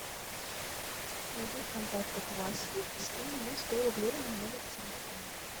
найди в контактах васю и скинь ему сто рублей на номер телефона